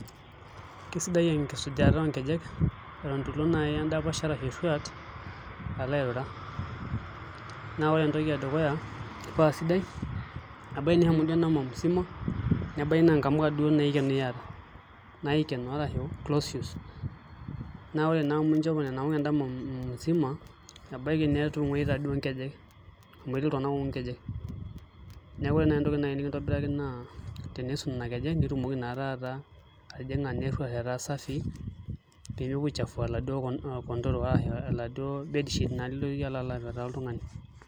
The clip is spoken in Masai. Kesidai enkisuja oonkelej Eton itu ilo naai endapash arashu eruat alo airura naa ore entoki edukuya paasidai ebaiki nishomo duo endama musima nebaiki naa inkamuka duo naikeno iyata naikeno arashu close shoes naa ore naa amu inchopo Nena amuka endama musima ebaiki netongoita duo nkejek amu etii iltungana oongu nkejek neeku ore nai entoki nai nikintobiraki naa tenisuj Nena kejek nitumoki naa taata atijinga naa eruat etaa safii peemepuo aichafua kondoro arashu aladuo [sc]bedsheet niloita apetaa oltungani.